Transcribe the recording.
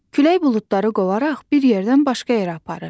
Külək buludları qovaraq bir yerdən başqa yerə aparır.